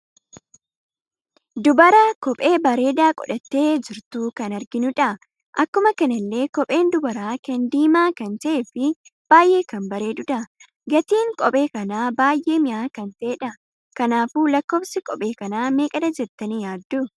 Dubara kophee bareeda godhatte jirtu kan arginudha. Akkuma kanallee kopheen dubara kana diima kan ta'ee fi baay'ee kan bareedudha. Gatiin kophee kana baay'ee mi'aa kan ta'eedha. Kanaafuu lakkoofsi kophee kana meeqadha jettani yaaddu?